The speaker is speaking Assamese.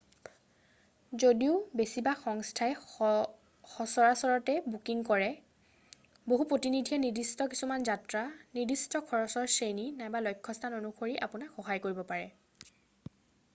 যদিও বেছিভাগ সংস্থাই সচৰাচৰতে বুকিং কৰে বহু প্ৰতিনিধিয়ে নিৰ্দিষ্ট কিছুমান যাত্ৰা নিৰ্দিষ্ট খৰচৰ শ্ৰেণী নাইবা লক্ষ্যস্থান অনুসৰি আপোনাক সহায় কৰিব পাৰে